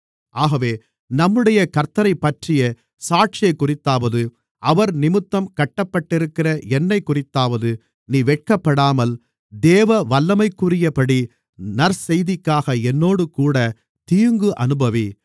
ஆகவே நம்முடைய கர்த்த்தரைப்பற்றிய சாட்சியைக்குறித்தாவது அவர்நிமித்தம் கட்டப்பட்டிருக்கிற என்னைக்குறித்தாவது நீ வெட்கப்படாமல் தேவ வல்லமைக்குரியபடி நற்செய்திக்காக என்னோடுகூடத் தீங்கு அனுபவி